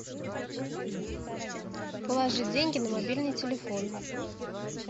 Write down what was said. положи деньги на мобильный телефон